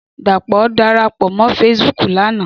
Dapo dàrápò mò fésibùk làná